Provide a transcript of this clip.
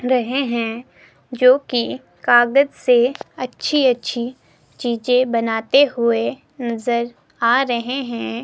रहे हैं जो की कागज से अच्छी अच्छी चीजे बनाते हुए नजर आ रहे हैं।